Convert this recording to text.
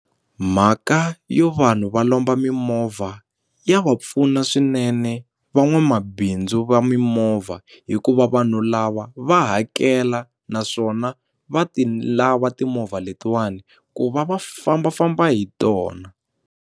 Mhaka yo vanhu va lomba mimovha ya va pfuna swinene van'wamabindzu va mimovha hikuva vanhu lava va hakela naswona va ti lava timovha letiwani ku va va fambafamba hi tona.